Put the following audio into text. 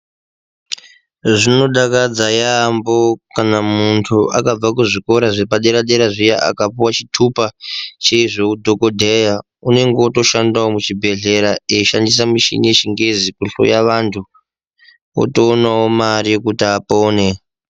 Zvinodakadza yaambo kana muntu akabva kuzvikora zvepadera-dera zviya. Akapuva chitupa chezveudhogodheya unenge eitoshandavo muzvibhedhlera, eishandisa mishini yechingezi kuhloya vantu otoonavo mari yekuti apone.